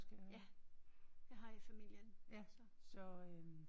Ja jeg har i familien så